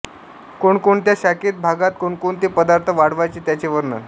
कोणकोणत्या शाखेत भागात कोणकोणते पदार्थ वाढावयाचे त्याचे वर्णनः